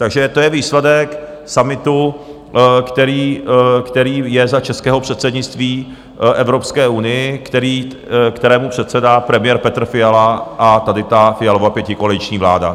Takže to je výsledek summitu, který je za českého předsednictví Evropské unii, kterému předsedá premiér Petr Fiala a tady ta Fialova pětikoaliční vláda.